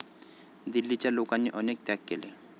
दिल्लीच्या लोकांनी अनेक त्याग केले.